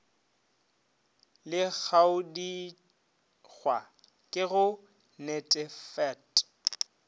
le kagodikgwa ke go netefat